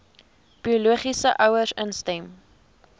biologiese ouers instem